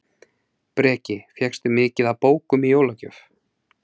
Breki: Fékkstu mikið af bókum í jólagjöf?